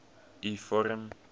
u vorm